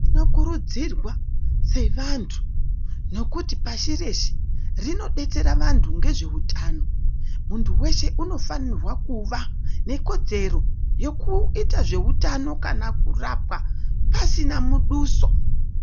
Tino kurudzirwa se vantu nekuti pashi reshe rino detsera vantu nge zveutano muntu weshe unofanirwa kuva ne kodzero yeku ita zveutano kana kurapa asina muduso.